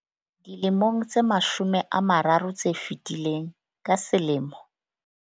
Dilemong tse mashome a mararo tse fetileng, ka selemo.